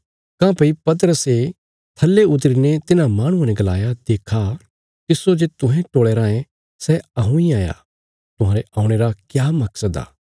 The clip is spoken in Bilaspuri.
तां पतरसे थल्ले उतरी ने तिन्हां माहणुआं ने गलाया देक्खा तिस्सो जे तुहें टोलया रायें सै हऊँ इ हाया तुहांरे औणे रा क्या मकसद आ